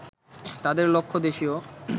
তাদের লক্ষ্য দেশীয়